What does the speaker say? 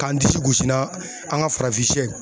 K'an disi gosi n'a an ka farafinsiyɛ ye.